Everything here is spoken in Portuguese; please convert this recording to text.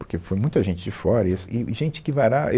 Porque foi muita gente de fora e e gente que vará.